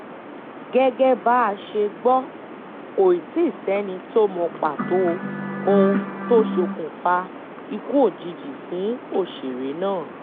gẹ́gẹ́ bá a ṣe gbọ́ kò tíì sẹ́ni tó mọ pàtó ohun tó ṣokùnfà ikú òjijì fún òṣèré náà